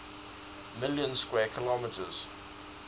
million square kilometers